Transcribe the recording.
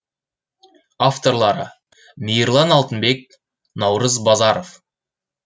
авторлары мейірлан алтынбек наурыз базаров